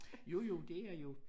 Jo jo det er jo